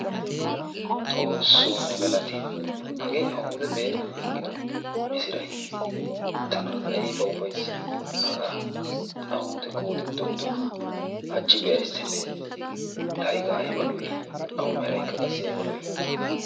xoosoo ne galatti, hagee awude be'ennan aggido misiray, tana aybba ufayssi hagaa awudekko wode dogidoogaa, hachi be'aystenee laaqa ayba lo'ii awu meraykka ayba lo'ii?